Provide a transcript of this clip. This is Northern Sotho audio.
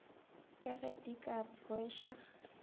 ka ge di ka rweša